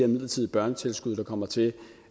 midlertidige børnetilskud der kommer til